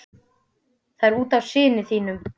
Það er út af syni þínum.